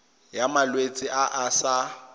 ya malwetse a a sa